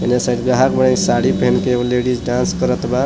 ये साइड में साड़ी पहन के एगो लेडिस डांस करत बा।